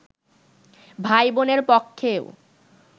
ভাইবোনের পক্ষেও